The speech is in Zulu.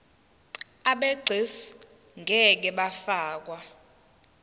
abegcis ngeke bafakwa